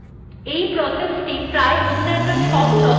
এই processthe প্রায় অন্যান্য সব processএর জন্ম দেয